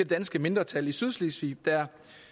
danske mindretal i sydslesvig der